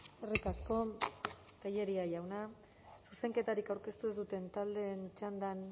eskerrik asko tellería jauna zuzenketarik aurkeztu ez duten taldeen txandan